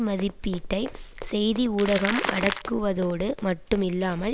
மதிப்பீட்டை செய்தி ஊடகம் அடக்குவதோடு மட்டும் இல்லாமல்